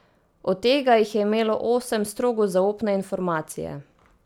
Od tega jih je imelo osem strogo zaupne informacije.